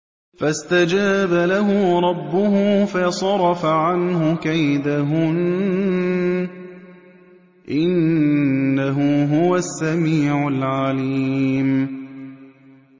فَاسْتَجَابَ لَهُ رَبُّهُ فَصَرَفَ عَنْهُ كَيْدَهُنَّ ۚ إِنَّهُ هُوَ السَّمِيعُ الْعَلِيمُ